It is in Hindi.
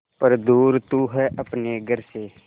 पर दूर तू है अपने घर से